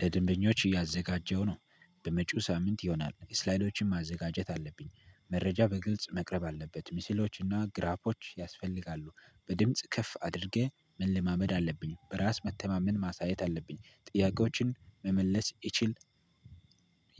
ለድንበኞች እያዘጋጀሁ ነው። በመጪው ሳምንት ይሆናል ስላይዶችን ማዘጋጀት አለብኝ መረጃ በግልጽ መቅረብ አለበት ሚሲሎችና ግራፖች ያስፈልጋሉ። በድምጽ ከፍ አድርገህ መለማመድ አለብኝ በራስ መተማመን ማሳየት አለብኝ ጥያቄዎችን መመለስ ይችል።